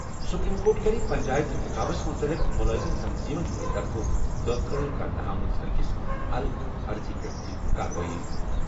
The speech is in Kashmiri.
سپریم کورٹ کَرِ پنچایت اِنتِخابس مُتعلِق مُلٲزِم تنظیٖمن ہِنٛدِ طرفہٕ دٲخل کرنہٕ آمٕژ أکِس الگ عرضی پٮ۪ٹھ تہِ کاروأٮٔی۔